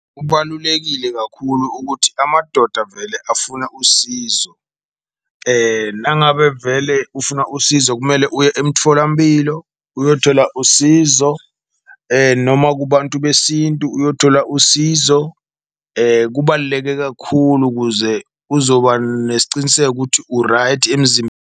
Kubalulekile kakhulu ukuthi amadoda vele afuna usizo nangabe vele ufuna usizo, kumele uye umtfolamphilo uyothola usizo noma kubantu besintu uyothola usizo. Kubaluleke kakhulu ukuze kuzoba nesiciniseko ukuthi u-right .